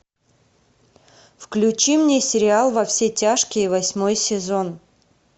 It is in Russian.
включи мне сериал во все тяжкие восьмой сезон